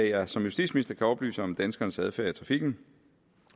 jeg som justitsminister kan oplyse om danskernes adfærd i trafikken